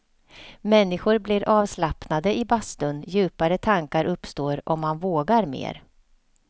Människor blir avslappnade i bastun, djupare tankar uppstår och man vågar mer.